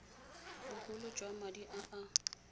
bogolo jwa madi a a